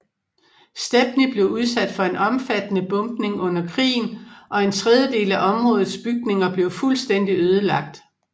Stepney blev udsat for en omfattende bombning under krigen og en tredjedel af områdets bygninger blev fuldstændig ødelagt